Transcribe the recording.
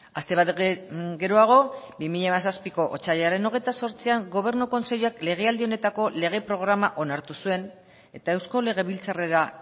aste bat geroago bi mila hamazazpiko otsailaren hogeita zortzian gobernu kontseiluak legealdi honetako lege programa onartu zuen eta eusko legebiltzarrera